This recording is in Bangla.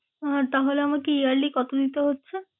আহ তাহলে আমাকে yearly কত দিতে হচ্ছে?